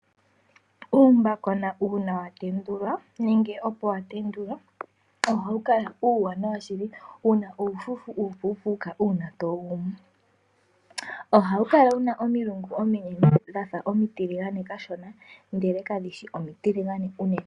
Uuyuhena uuna watendulwa nenge opo watendulwa ohawu kala uuwanawa shili wuna uufufu uupupuka uuna towu gumu. Ohawu kala wuna omilungu ominene dhafa omitilage kashona ndele kadhishi omitiligane unene.